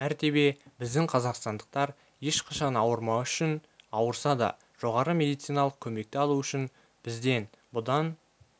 мәртебе біздің қазақстандықтар ешқашан ауырмауы үшін ауырса да жоғары медициналық көмекті алуы үшін бізден бұдан